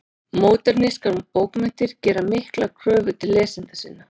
Módernískar bókmenntir gera miklar kröfur til lesenda sinna.